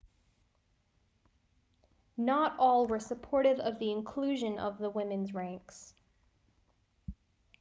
not all were supportive of the inclusion of the women's ranks